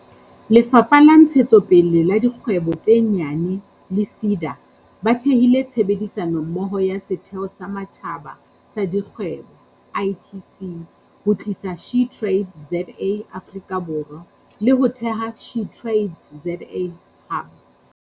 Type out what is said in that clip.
Lefapha la Ntshetsopele ya Dikgwebo tse Nyane le SEDA ba thehile tshebedisano mmoho le Setheo sa Matjhaba sa Dikgwebo, ITC, ho tlisa SheTradesZA Afrika Borwa, le ho theha SheTradesZA Hub.